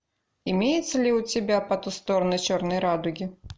имеется ли у тебя по ту сторону черной радуги